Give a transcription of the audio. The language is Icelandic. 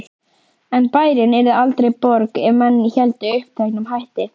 En bærinn yrði aldrei borg ef menn héldu uppteknum hætti.